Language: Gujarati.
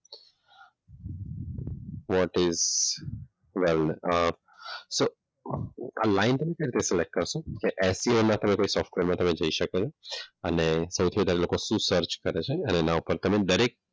what is લાઈન ને કેવી રીતે સિલેક્ટ કરશો? કે કોઈ સોફ્ટવેરમાં તમે જઈ શકો છો. અને સૌથી વધારે એ લોકો શું સર્ચ કરે છે? એના ઉપર તમે દરેક,